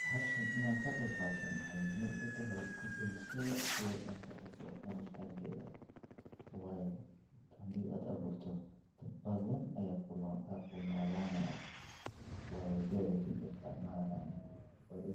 Waa midho ka baxa geedka loquat-ka oo ka soo jeeda qaarada Aasiya, gaar ahaan dalka Shiinaha, wuxuuna noqday midho caan ah oo lagu cuno qaaradaha badan oo ay ku jiraan Afrika, Yurub, iyo Ameerika, sababtoo ah dhadhan kiimaha iyo macaanka